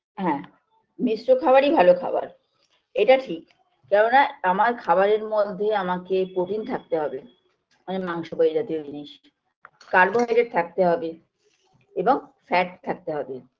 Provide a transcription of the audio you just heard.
হ্যাঁ মিশ্র খাবারই ভালো খাবার এটা ঠিক কেননা আমার খাবারের মধ্যে আমাকে protein থাকতে হবে মানে মাংস বা এই জাতীয় জিনিস carbohydrate থাকতে হবে এবং fat থাকতে হবে